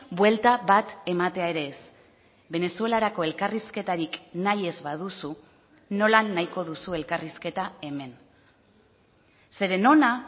buelta bat ematea ere ez venezuelarako elkarrizketarik nahi ez baduzu nola nahiko duzu elkarrizketa hemen zeren hona